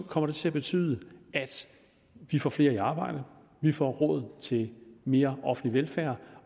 kommer det til at betyde at vi får flere i arbejde at vi får råd til mere offentlig velfærd